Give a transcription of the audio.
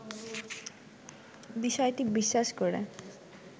বিষয়টি বিশ্বাস করে